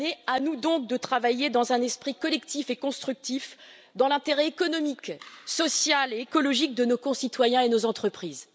À nous donc de travailler dans un esprit collectif et constructif dans l'intérêt économique, social et écologique de nos concitoyens et de nos entreprises.